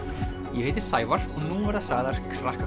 ég heiti Sævar og nú verða sagðar